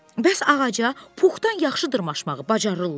Bəs ağaca puxdan yaxşı dırmaşmağı bacarırlar?